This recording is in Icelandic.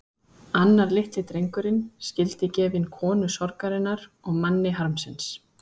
Þau bergmáluðu stöðugt í hausnum á mér.